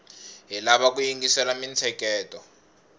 hi lava ku yingisela mintsheketo